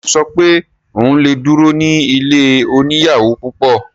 Ṣe ò sọ pé òun lè duro ní ilé oníyàwò púpọ̀?